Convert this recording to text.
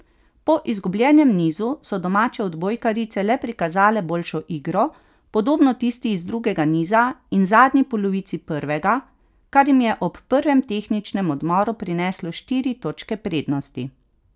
Po izgubljenem nizu so domače odbojkarice le prikazale boljšo igro, podobno tisti iz drugega niza in zadnji polovici prvega, kar jim je ob prvem tehničnem odmoru prineslo štiri točke prednosti.